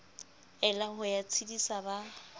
ela ho ya tshedisa ba